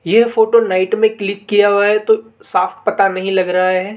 ये photo night में click किया हुआ है तो साफ पता नहीं लग रहा है।